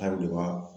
Hali de b'a